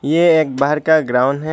यह एक बाहर का ग्राउंन है।